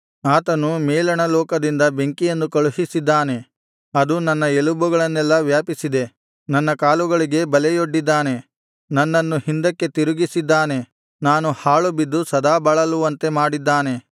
ಆತನು ಮೇಲಣ ಲೋಕದಿಂದ ಬೆಂಕಿಯನ್ನು ಕಳುಹಿಸಿದ್ದಾನೆ ಅದು ನನ್ನ ಎಲುಬುಗಳನೆಲ್ಲಾ ವ್ಯಾಪಿಸಿದೆ ನನ್ನ ಕಾಲುಗಳಿಗೆ ಬಲೆಯೊಡ್ಡಿದ್ದಾನೆ ನನ್ನನ್ನು ಹಿಂದಕ್ಕೆ ತಿರುಗಿಸಿದ್ದಾನೆ ನಾನು ಹಾಳುಬಿದ್ದು ಸದಾ ಬಳಲುವಂತೆ ಮಾಡಿದ್ದಾನೆ